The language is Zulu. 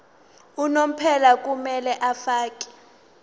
unomphela kumele afakele